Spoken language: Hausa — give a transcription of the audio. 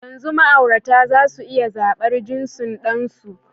Yanzu ma'aurata za su iya zaɓar jinsin ɗansu.